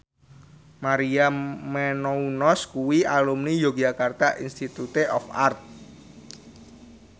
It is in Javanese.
Maria Menounos kuwi alumni Yogyakarta Institute of Art